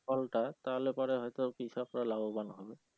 ফলটা তাহলে পরে হয়তো কৃষক রা লাভবান হবে।